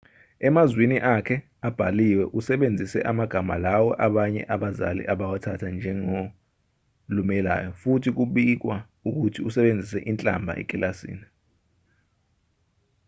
emazwini akhe abhaliwe usebenzise amagama lawo abanye abazali abawathatha njengalumelayo futhi kubikwa ukuthi usebenzise inhlamba ekilasini